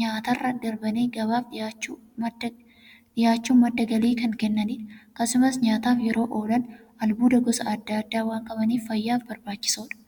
nyaatarra darbanii gabaaf dhiyaachuun madda galii kan kennaniidha. Akkasumas nyaataf yeroo oolan, albuuda gosa adda addaa waan qabaniif, fayyaaf barbaachisoodha.